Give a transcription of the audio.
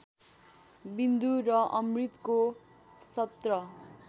विन्दु र अमृतको १७